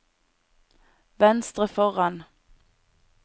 venstre foran